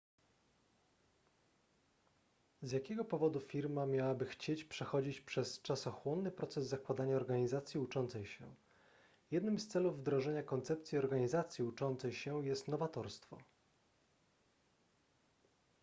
z jakiego powodu firma miałaby chcieć przechodzić przez czasochłonny proces zakładania organizacji uczącej się jednym z celów wdrożenia koncepcji organizacji uczącej się jest nowatorstwo